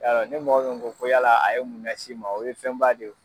Yalɔ ni mɔgɔ min ko yala a ye mun las'i ma o ye fɛnba de ye o.